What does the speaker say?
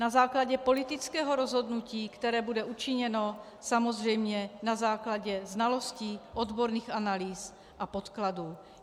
Na základě politického rozhodnutí, které bude učiněno, samozřejmě na základě znalostí, odborných analýz a podkladů.